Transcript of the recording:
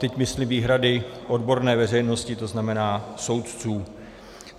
Teď myslím výhrady odborné veřejnosti, to znamená soudců.